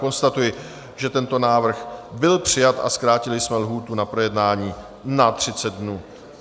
Konstatuji, že tento návrh byl přijat, a zkrátili jsme lhůtu na projednání na 30 dnů.